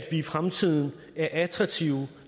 i fremtiden er attraktive